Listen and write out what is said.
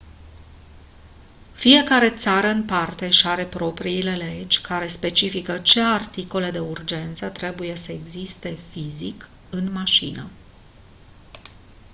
fiecare țară în parte își are propriile legi care specifică ce articole de urgență trebuie să existe fizic în mașină